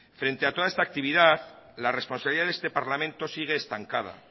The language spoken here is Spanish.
frente a toda esta actividad la responsabilidad de este parlamento sigue estancada